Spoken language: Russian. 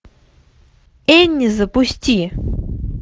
энни запусти